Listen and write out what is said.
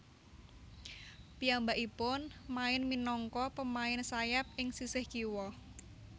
Piyambakipun main minangka pemain sayap ing sisih kiwa